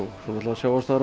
svo